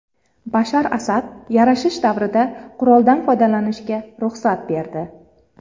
Bashar Asad yarashish davrida quroldan foydalanishga ruxsat berdi.